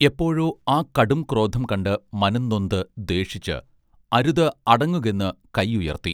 എപ്പഴോ ആ കടും ക്രോധം കണ്ട് മനംനൊന്ത് ദ്വേഷിച്ച് അരുത് അടങ്ങുകെന്ന് കൈയുയർത്തി